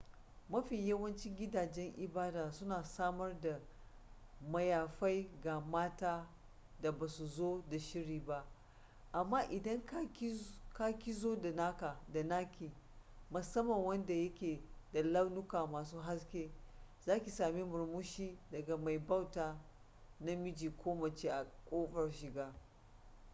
mafi yawancin gidajen ibada suna samar da mayafai ga matan da ba su zo da shiri ba amma idan ki ka zo da naki musamman wanda yake da launuka masu haske za ki sami murmushi daga mai bauta namiji ko mace a ƙofar shiga